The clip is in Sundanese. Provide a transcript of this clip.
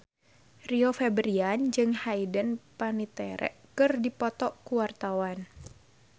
Rio Febrian jeung Hayden Panettiere keur dipoto ku wartawan